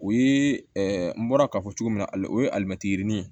O ye n bɔra k'a fɔ cogo min na o ye alimɛti yirinin ye